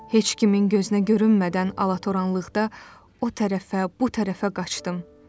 Heç kimin gözünə görünmədən alatoranlıqda o tərəfə, bu tərəfə qaçdım.